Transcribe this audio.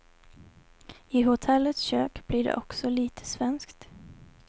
I hotellets kök blir det också lite svenskt.